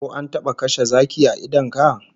Ko an taba kashe zaki a idon ka?